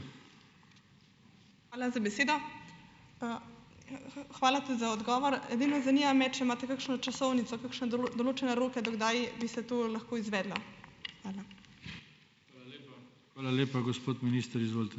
Hvala za besedo. Hvala tudi za odgovor. Edino zanima me, če imate kakšno časovnico, kakšne določene roke, do kdaj bi se to lahko izvedlo. Hvala.